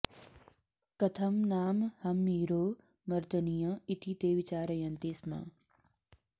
कथं नाम हम्मीरो मर्दनीय इति ते विचारयन्ति स्म